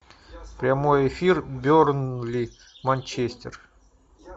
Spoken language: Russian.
прямой эфир бернли манчестер